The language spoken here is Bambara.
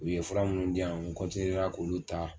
U ye fura minnu diyan n k'olu ta.